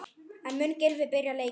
En mun Gylfi byrja leikinn?